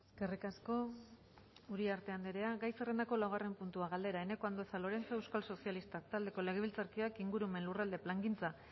eskerrik asko uriarte andrea gai zerrendako laugarren puntua galdera eneko andueza lorenzo euskal sozialistak taldeko legebiltzarkideak ingurumen lurralde plangintza